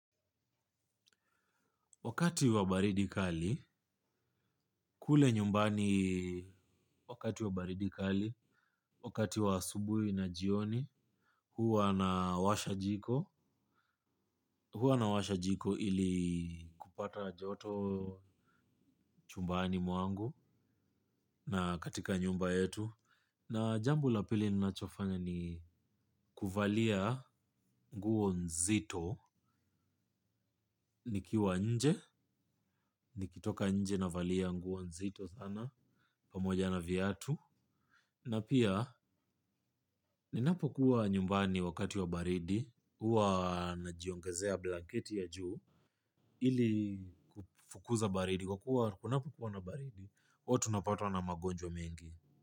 Wakati wa baridi kali, kule nyumbani wakati wa baridi kali, wakati wa asubuhi na jioni, huwa nawasha jiko, huwa nawasha jiko ili kupata joto chumbani mwangu na katika nyumba yetu. Na jambo la pili ninachofanya ni kuvalia nguo nzito nikiwa nje nikitoka navalia nguo nzito sana pamoja na viatu na pia ninapokuwa nyumbani wakati wa baridi huwa najiongezea blanketi ya juu ili kufukuza baridi. Kwa kuwa, kunapo kuwa na baridi, huwa tu napatwa na magonjwa mengi.